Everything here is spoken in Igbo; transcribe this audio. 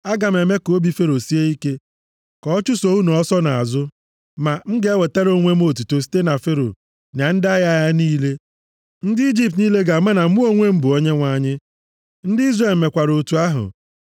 Aga m eme ka obi Fero sie ike ka ọ chụso unu ọsọ nʼazụ, ma m ga-ewetara onwe m otuto site na Fero na ndị agha ya niile. Ndị Ijipt niile ga-ama na mụ onwe m bụ Onyenwe anyị.” Ndị Izrel mekwara otu ahụ.